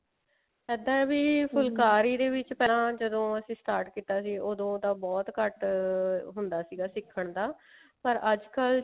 ਇੱਦਾਂ ਹੈ ਵੀ ਫੁਲਕਾਰੀ ਦੇ ਪਹਿਲਾਂ ਜਦੋਂ ਅਸੀਂ start ਕਿਤਾ ਸੀ ਓਦੋਂ ਤਾਂ ਬਹੁਤ ਘੱਟ ਹੁੰਦਾ ਸੀਗਾ ਸਿੱਖਣ ਦਾ ਪਰ ਅੱਜਕਲ